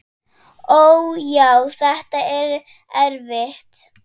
Ó, já, þetta er erfitt.